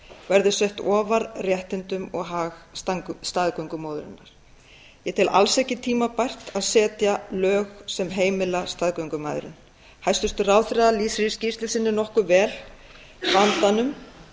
verði sett ofar réttindum og hag staðgöngumóðurinnar ég tel alls ekki tímabært að setja lög sem heimila staðgöngumæðrun hæstvirtur ráðherra lýsir í skýrslu sinni nokkuð vel vandanum við